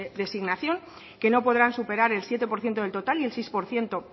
designación que no podrán superar el siete por ciento del total y el seis por ciento